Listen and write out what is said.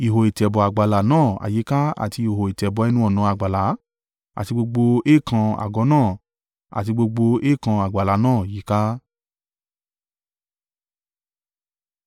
ihò ìtẹ̀bọ̀ àgbàlá náà àyíká àti ihò ìtẹ̀bọ̀ ẹnu-ọ̀nà àgbàlá àti gbogbo èèkàn àgọ́ náà, àti gbogbo èèkàn àgbàlá náà yíká.